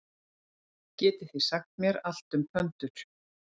Miðjumaðurinn Haukur Páll Sigurðsson tekur út leikbann hjá Val.